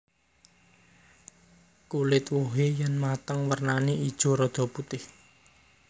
Kulit wohé yèn mateng wernané ijo rada putih